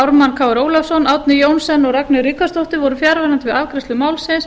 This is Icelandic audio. ármann krónu ólafsson árni johnsen og ragnheiður ríkharðsdóttir voru fjarverandi við afgreiðslu málsins